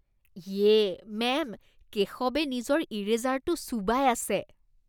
ইয়ে! মেম, কেশৱে নিজৰ ইৰেজাৰটো চোবাই আছে।